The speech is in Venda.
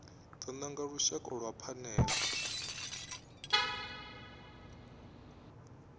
do nanga lushaka lwa phanele